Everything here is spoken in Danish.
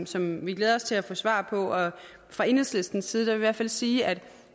som vi glæder os til at få svar på og fra enhedslistens side vil vi i hvert fald sige at